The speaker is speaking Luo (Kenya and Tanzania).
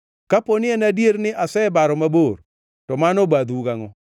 Kapo ni en adier ni asebaro mabor, to mano obadhou gangʼo.